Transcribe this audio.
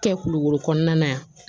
Kɛ kulukoro kɔnɔna yan